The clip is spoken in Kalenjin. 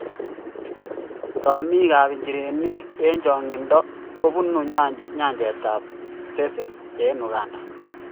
Rumiikab nchirenik eng' chong'iindo kobunu nyanychetab SSESE eng' Uganda.